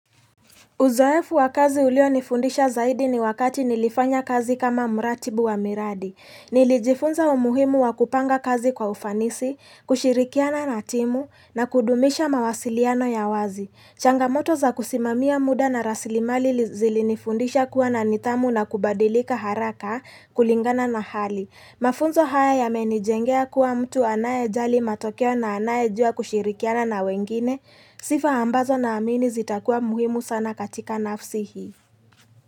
Uzoefu wa kazi ulio nifundisha zaidi ni wakati nilifanya kazi kama muratibu wa miradi. Nilijifunza wa muhimu wa kupanga kazi kwa ufanisi, kushirikiana na timu, na kudumisha mawasiliano ya wazi. Changamoto za kusimamia muda na rasilimali zilinifundisha kuwa na nidhamu na kubadilika haraka kulingana na hali. Mafunzo haya ya menijengea kuwa mtu anaye jali matokeo na anaye jua kushirikiana na wengine, sifa ambazo na amini zitakuwa muhimu sana katika nafsi hii.